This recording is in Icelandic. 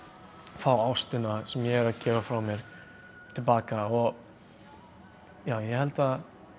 fá ástina sem ég er að gefa frá mér til baka og já ég held að